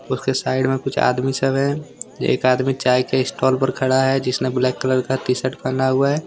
उसके साइड में कुछ आदमी सब है एक आदमी चाय के स्टॉल पर खड़ा है जिसने ब्लैक कलर का टी-शर्ट पहना हुआ है।